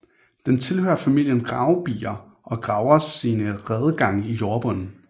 Den tilhører familien gravebier og graver sine redegange i jordbunden